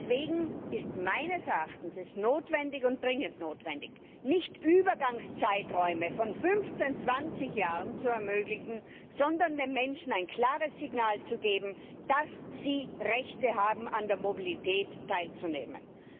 Deswegen ist es meines Erachtens dringend notwendig, nicht Übergangszeiträume von fünfzehn zwanzig Jahren zu ermöglichen, sondern den Menschen ein klares Signal zu geben, dass sie Rechte haben, an der Mobilität teilzunehmen.